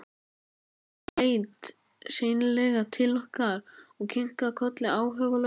Siggi leit seinlega til okkar og kinkaði kolli áhugalaust.